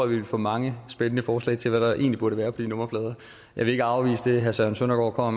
vi ville få mange spændende forslag til hvad der egentlig burde være på de nummerplader jeg vil ikke afvise det herre søren søndergaard kommer